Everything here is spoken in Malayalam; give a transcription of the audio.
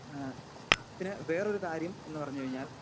സ്പീക്കർ 2 ഏഹ് പിന്നെ വേറൊരു കാര്യം എന്ന് പറഞ്ഞു കഴിഞ്ഞാൽ